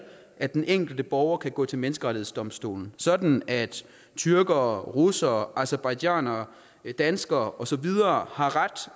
at den enkelte borger kan gå til menneskerettighedsdomstolen sådan at tyrkere russere aserbajdsjanere danskere og så videre har ret